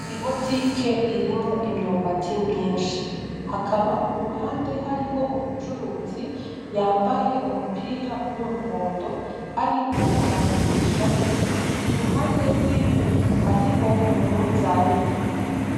Ibotike irimwo imyumbati myinshi hakaba kuruhande hariho umucuruzi yambaye umupira wumuhondo ariko aragurisha iruhande rwiwe hariho umunzani .